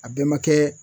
A bɛɛ ma kɛ